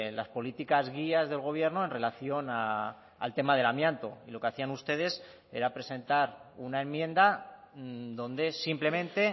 las políticas guías del gobierno en relación al tema del amianto y lo que hacían ustedes era presentar una enmienda donde simplemente